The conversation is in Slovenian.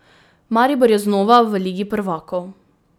Maribor je znova v ligi prvakov.